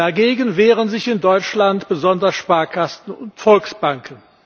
Dagegen wehren sich in Deutschland besonders Sparkassen und Volksbanken.